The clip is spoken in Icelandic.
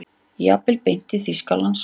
Jafnvel beint til Þýskalands.